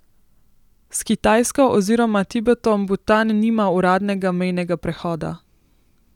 S Kitajsko oziroma Tibetom Butan nima uradnega mejnega prehoda.